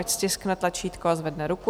Ať stiskne tlačítko a zvedne ruku.